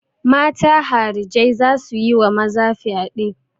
Mata harijai za su yi wa maza fyade.